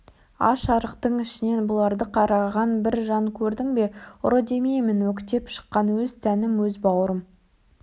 аш-арықтың ішінен бұларды қарғаған бір жан көрдің бе ұры демеймін өктеп шыққан өз тәнім өз баурым